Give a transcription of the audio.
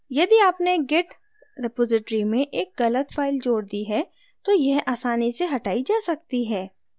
यदि आपने git repository में एक git file जोड़ दी है तो यह आसानी से हटाई जा सकती है